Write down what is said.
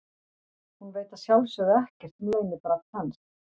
Hún veit að sjálfsögðu ekkert um leynibrall hans.